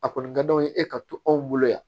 A kɔni ka d'aw ye e ka to anw bolo yan